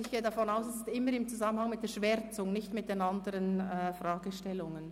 Ich gehe davon aus, es sei immer im Zusammenhang mit der Schwärzung und nicht mit den anderen Fragestellungen.